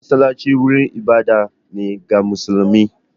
Masallatai wurin ibada ne ga musulmi